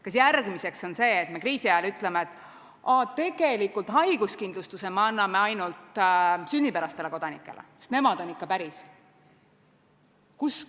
Kas järgmiseks on see, et me ütleme kriisiajal, et aa, tegelikult me anname haiguskindlustuse ainult sünnipärastele kodanikele, sest nemad on ikka päris?